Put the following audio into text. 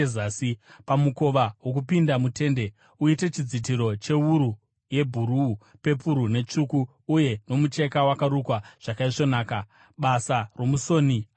“Pamukova wokupinda mutende uite chidzitiro chewuru yebhuruu, pepuru netsvuku uye nomucheka wakarukwa zvakaisvonaka, basa romusoni anogona.